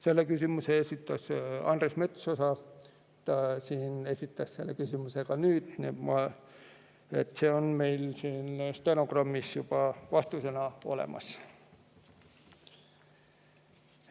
Selle küsimuse esitas Andres Metsoja, aga ta esitas selle küsimuse ka täna siin, nii et vastus on meil nüüd juba stenogrammis olemas.